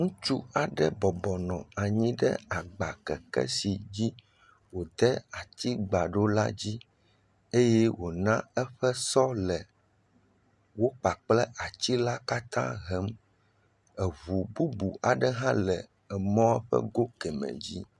Ŋutsu aɖe bɔbɔ nɔ anyi ɖe agbakeke si dzi wòde atigba ɖo la dzi eye wòna eƒe sɔ le ekpakple atsila katã hem. Eŋu bub aɖe hã le emɔ̃ ƒe go kemɛ dzi.